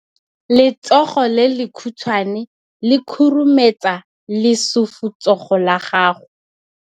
Letsogo le lekhutshwane le khurumetsa lesufutsogo la gago.